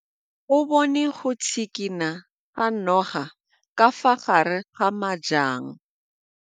O bone go tshikinya ga noga ka fa gare ga majang.